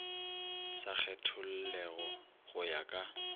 sa kgethollego go ya ka